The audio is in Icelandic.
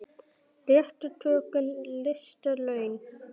Réttu tökin lista laun.